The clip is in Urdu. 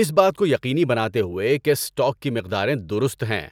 اس بات کو یقینی بناتے ہوئے کہ اسٹاک کی مقداریں درست ہیں۔